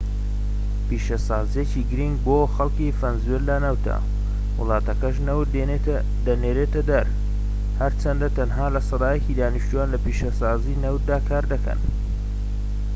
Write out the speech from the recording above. پیشەسازیەکی گرنگ بۆ خەلکی ڤەنزوێلا نەوتە وڵاتەکەش نەوت دەنێرێتە دەر هەرچەندە تەنها سەدا یەکی دانیشتوان لە پیشەسازیی نەوتدا کار دەکەن